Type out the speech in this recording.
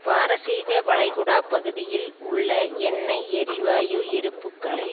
பாரசீக வளைகுடாப்பகுதியில் உள்ள எண்ணெய் எரிவாயு இருப்புக்களை